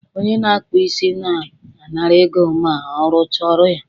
onye na-akpụ isi na-anara ego ma ọrụcha ọrụ ya